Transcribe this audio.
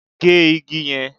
Gé igi yẹn!